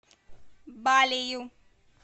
балею